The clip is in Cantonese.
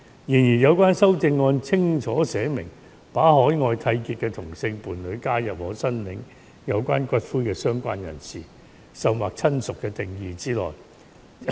然而，有關修正案清楚寫明，把海外締結的同性伴侶加入可申領有關骨灰的"相關人士"，甚或"親屬"的定義之內。